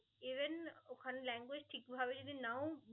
Even ওখানে language ঠিকভাবে যদি নাও